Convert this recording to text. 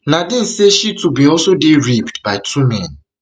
nadine say she too bin also dey raped by two men